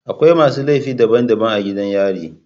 Akwai masu laifi daban daban a gidan yari